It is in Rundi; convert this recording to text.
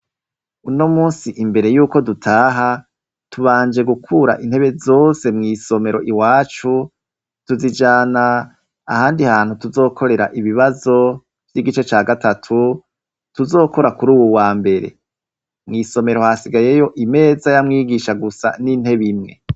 Uno munsi imbere yuko dutaha tubanje gukura intebe zose mw'isomero iwacu, tuzijana ahandi hantu tuzokorera ibibazo vy'igice ca gatatu tuzokora kuri uwu wambere. Mw'isomero hasigayeyo imeza ya mwigisha gusa n'intebe imwe.